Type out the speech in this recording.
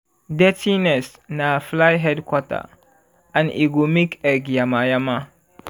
dirty nest na fly headquarter and e go make egg yama-yama.